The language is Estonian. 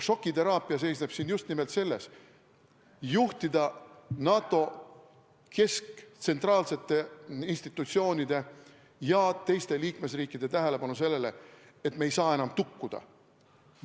Šokiteraapia seisneb siin just nimelt selles: juhtida NATO kesktsentraalsete institutsioonide ja teiste liikmesriikide tähelepanu sellele, et me ei saa enam tukkuda.